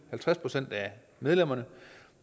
halvtreds procent af medlemmerne